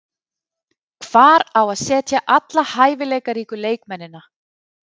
Hvar á að setja alla hæfileikaríku leikmennina?